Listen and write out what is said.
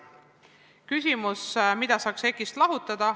Teine küsimus on selle kohta, mida saaks EKI-st lahutada.